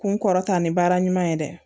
Kun kɔrɔta ni baara ɲuman ye dɛ